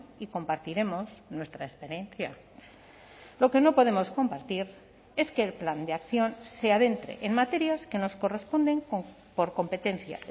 y compartiremos nuestra experiencia lo que no podemos compartir es que el plan de acción se adentre en materias que nos corresponden por competencia